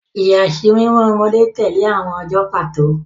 Ìyàsímímọ́ ọmọdé tẹ̀lé àwọn ọjọ́ pàtó.